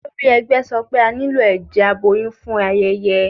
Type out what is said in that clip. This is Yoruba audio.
Olórí ẹgbẹ́ sọ pé a nílò ẹ̀jẹ̀ aboyún fún ayẹyẹ